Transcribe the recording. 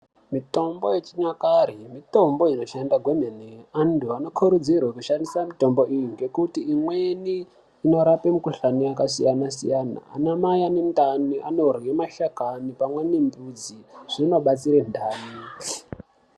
Mitombo yechinyakare mitombo inoshanda kwemene. Antu anokurudzirwa kushandise mitombo iyi. Ngekuti imweni inorapa mikhuhlana yakasiyana siyana. Ana Mai ane ndani anodyra mashakani pamwe nemidzi. Zvinobatsira ndani.